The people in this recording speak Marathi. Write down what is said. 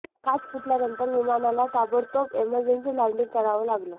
काच फुटल्यानंतर विमानाला ताबडतोब इमर्जन्सी लँडिंग करावं लागलं